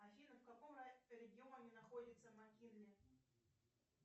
афина в каком регионе находится маккинли